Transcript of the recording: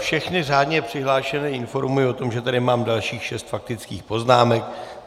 Všechny řádně přihlášené informuji o tom, že tady mám dalších šest faktických poznámek.